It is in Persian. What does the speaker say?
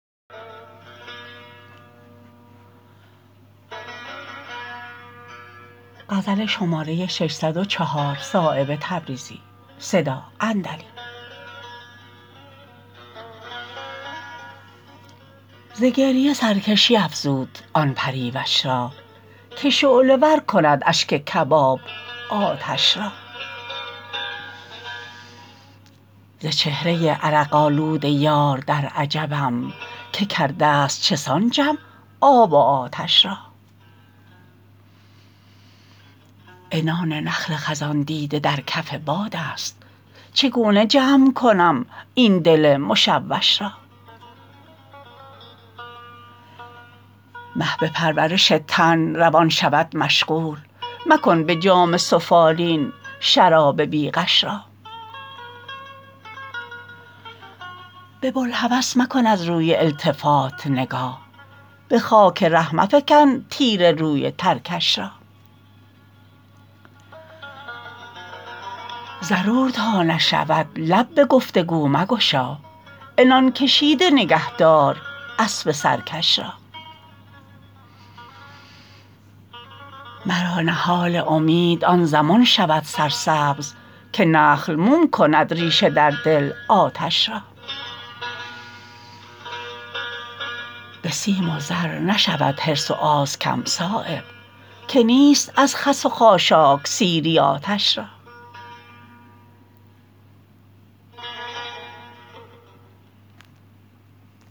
ز گریه سرکشی افزود آن پریوش را که شعله ور کند اشک کباب آتش را ز چهره عرق آلود یار در عجبم که کرده است چسان جمع آب و آتش را عنان نخل خزان دیده در کف بادست چگونه جمع کنم این دل مشوش را مهل به پرورش تن روان شود مشغول مکن به جام سفالین شراب بی غش را به بوالهوس مکن از روی التفات نگاه به خاک ره مفکن تیر روی ترکش را ضرور تا نشود لب به گفتگو مگشا عنان کشیده نگه دار اسب سرکش را مرا نهال امید آن زمان شود سرسبز که نخل موم کند ریشه در دل آتش را به سیم و زر نشود حرص و آز کم صایب که نیست از خس و خاشاک سیری آتش را